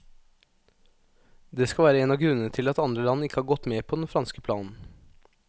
Det skal være en av grunnene til at andre land ikke har gått med på den franske planen.